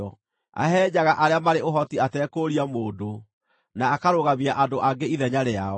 Ahehenjaga arĩa marĩ ũhoti atekũũria mũndũ na akarũgamia andũ angĩ ithenya rĩao.